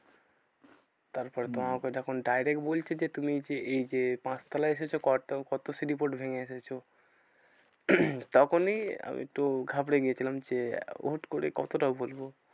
তারপরে তো হম আমাকে যখন direct বলছে যে তুমি যে এই যে পাঁচতলায় এসেছো কত কত সিঁড়ি part ভেঙে এসেছো? তখনই আমিতো ঘাবড়ে গেছিলাম যে হুট্ করে কতটা বলবো?